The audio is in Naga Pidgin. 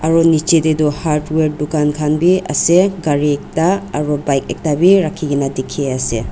aro neji teh toh hardware tukankanbe ase kari ekta aro bike ektabeh rakhina teki ase.